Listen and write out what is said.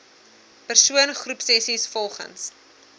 persoon groepsessies volgens